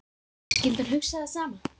Skyldi hann hugsa það sama?